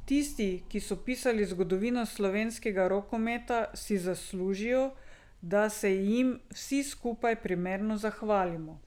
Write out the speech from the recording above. Tisti, ki so pisali zgodovino slovenskega rokometa, si zaslužijo, da se jim vsi skupaj primerno zahvalimo.